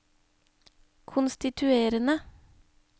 konstituerende